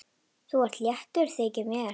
Þú ert léttur, þykir mér!